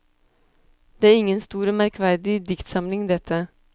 Det er ingen stor og merkverdig diktsamling, dette.